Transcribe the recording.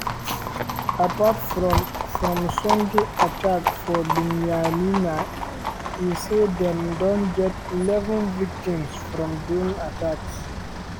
apart from from sunday attack for binyamina e say dem don get eleven victims from drone attacks.